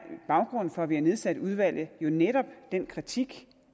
baggrunden for at vi har nedsat udvalget jo netop den kritik